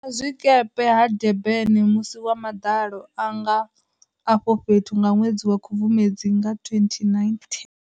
Vhuimazwikepe ha Durban musi wa maḓalo anga afho fhethu nga ṅwedzi wa khubvumedzi nga 2019.